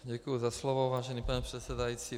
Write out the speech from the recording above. Děkuju za slovo, vážený pane předsedající.